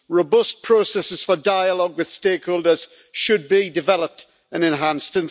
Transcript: Robust processes for dialogue with stakeholders should be developed and enhanced.